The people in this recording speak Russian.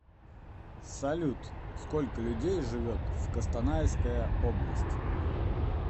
салют сколько людей живет в костанайская область